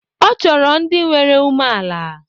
Ọ chọrọ ndị nwere umeala.